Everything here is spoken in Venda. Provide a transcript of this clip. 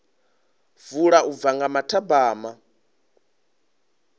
vula u bva nga mathabama